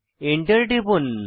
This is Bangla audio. Enter টিপুন